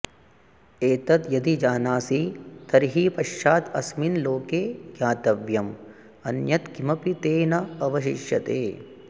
एतद् यदि जानासि तर्हि पश्चात् अस्मिन् लोके ज्ञातव्यम् अन्यत् किमपि ते न अवशिष्यते